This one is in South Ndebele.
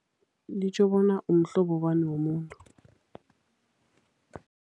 Litjho bona umhlobo bani womuntu.